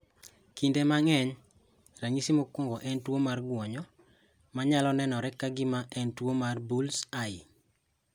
Kinde mang'eny, ranyisi mokwongo en tuwo mar gwonyo, manyalo nenore ka gima en tuwo mar bull's eye.